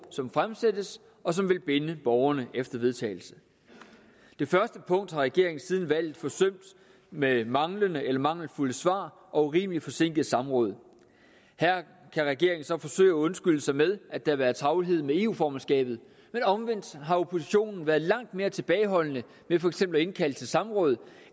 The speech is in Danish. som fremsættes og som vil binde borgerne efter en vedtagelse det første punkt har regeringen siden valget forsømt med manglende eller mangelfulde svar og urimelig forsinkede samråd her kan regeringen så forsøge at undskylde sig med at der har været travlhed med eu formandskabet men omvendt har oppositionen været langt mere tilbageholdende med for eksempel at indkalde til samråd